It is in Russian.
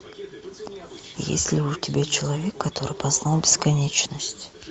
есть ли у тебя человек который познал бесконечность